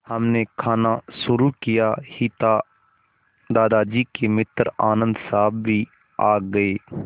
हमने खाना शुरू किया ही था कि दादाजी के मित्र आनन्द साहब भी आ गए